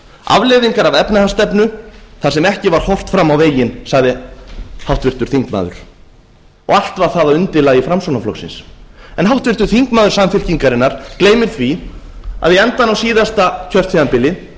afleiðingar af efnahagsstefnu þar sem ekki var horft fram á veginn sagði háttvirtur þingmaður og allt var það að undirlagi framsóknarflokksins en háttvirtur þingmaður samfylkingarinnar gleymir því að í endann á síðasta kjörtímabili